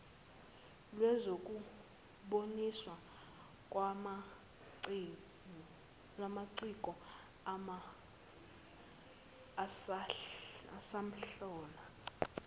lwezokuboniswa kwamaciko asamdlalo